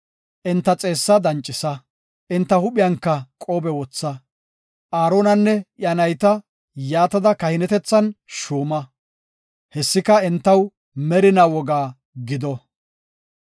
Enta xeessaa dancisa; enta huuphiyanka qoobe wotha. Aaronanne iya nayta yaatada kahinetethan shuuma. Hessika, entaw merina woga gido.